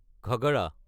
Ghaghara